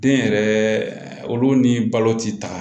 Den yɛrɛ olu ni balo ti taga